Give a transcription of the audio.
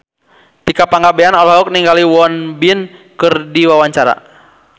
Tika Pangabean olohok ningali Won Bin keur diwawancara